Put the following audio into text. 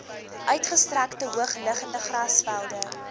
uitgestrekte hoogliggende grasvelde